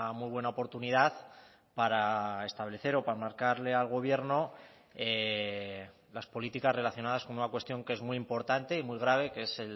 muy buena oportunidad para establecer o para marcarle al gobierno las políticas relacionadas con una cuestión que es muy importante y muy grave que es